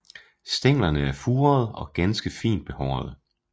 Stænglerne er furede og ganske fint behårede